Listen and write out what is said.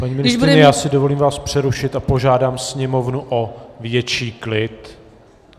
Paní ministryně, já si dovolím vás přerušit a požádám sněmovnu o větší klid.